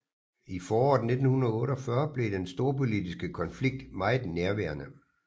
I foråret 1948 blev den storpolitiske konflikt meget nærværende